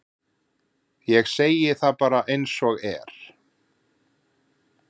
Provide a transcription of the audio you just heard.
Ég segi það bara eins og er.